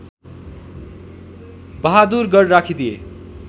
Bahadurgarh राखिदिए